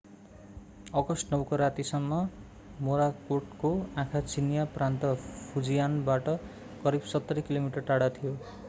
August 9 को रातिसम्म मोराकोटको आँखा चिनियाँ प्रान्त फुजियानबाट करिव सत्तरी किलोमिटर टाढा थियो